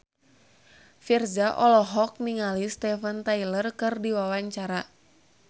Virzha olohok ningali Steven Tyler keur diwawancara